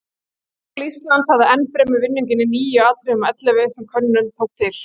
Háskóli Íslands hafði enn fremur vinninginn í níu atriðum af ellefu sem könnunin tók til.